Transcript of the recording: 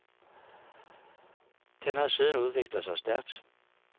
Den har siden udviklet sig stærkt.